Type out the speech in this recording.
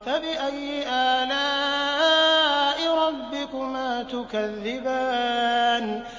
فَبِأَيِّ آلَاءِ رَبِّكُمَا تُكَذِّبَانِ